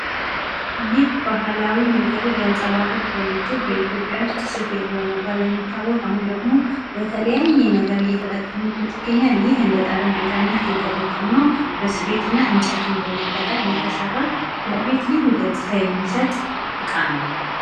ይህ ባህላዊ ነገርን ሊያንጸባርቅ የሚችል ፤ በኢትዮጵያ ዉስጥ ስፌት በመባል የሚታወቅ አሁን ደሞ በተለያየ ነገር እይተጠቀምንበት እንገኛለን ይህ እንደ ጠረጴዛነት የተጠቀምነው በስፌት እና እንጨትን በመጠቀም የተሰራ ለቤት ልዩ ገጽታን የሚሰጥ እቃ ነው።